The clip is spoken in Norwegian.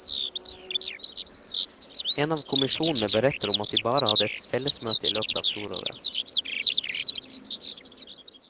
En av kommisjonene beretter om at de bare hadde ett fellesmøte i løpet av fjoråret.